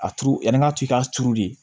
A turu yani ŋa t'i k'a turu de